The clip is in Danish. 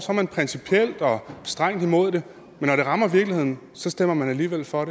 strengt imod det men når det rammer virkeligheden stemmer man alligevel for